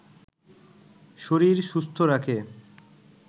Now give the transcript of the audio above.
শরীর সুস্থ রাখে